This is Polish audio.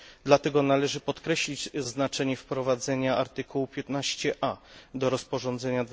Dlatego należy podkreślić znaczenie wprowadzenia artykułu 15a do rozporządzenia